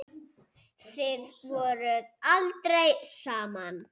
Þið voruð aldrei saman.